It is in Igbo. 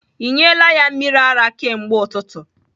Ị nyela ya mmiri ara kemgbe ụtụtụ?